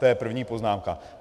To je první poznámka.